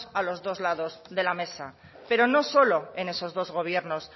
a los dos lados de la mesa pero no solo en esos dos gobiernos